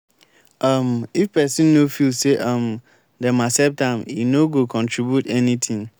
um if pesin no feel say um dem accept am e no go contribute anything.